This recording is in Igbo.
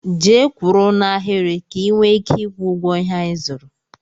Jee kwụrụ n'ahiri ka i nwee ike ịkwọ ụgwọ ihé anyị zụrụ!!!!